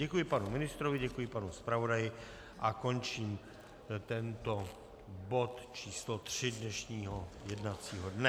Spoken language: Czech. Děkuji panu ministrovi, děkuji panu zpravodaji a končím tento bod číslo 3 dnešního jednacího dne.